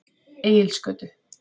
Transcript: Egilsgötu